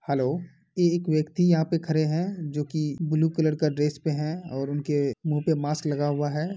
Hello. ये एक व्यक्ति यहां पर खड़े हैं जो कि ब्लू कलर का ड्रेस में है और उनके मु पे मास्क लगा हुआ है ।